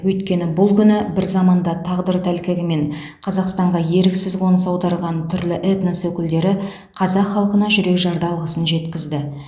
өйткені бұл күні бір заманда тағдыр тәлкегімен қазақстанға еріксіз қоныс аударған түрлі этнос өкілдері қазақ халқына жүрекжарды алғысын жеткізді